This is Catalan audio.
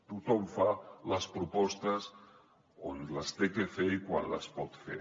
tothom fa les propostes on les ha de fer i quan les pot fer